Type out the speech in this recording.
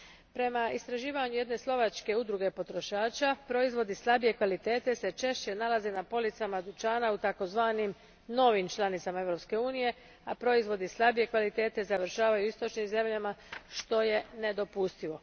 Prema istraživanju jedne slovačke udruge potrošača, proizvodi slabije kvalitete se češće nalaze na policama dućana u takozvanim novim članicama Europske unije, a proizvodi slabije kvalitete završavaju u istočnim zemljama, što je nedopustivo.